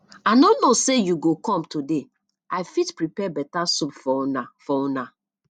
i no know say you go com today i fit prepare beta soup for una for una